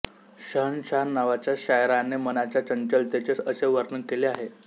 शहंशहा नावाच्या शायराने मनाच्या चंचलतेचे असे वर्णन केले आहे